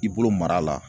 I bolo mara la